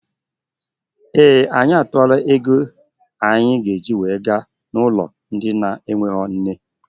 Ee anyị atuola égo anyị ga -eji wee jee n' ụlọ ndị na enweghị nne.